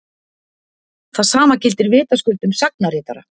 það sama gildir vitaskuld um sagnaritara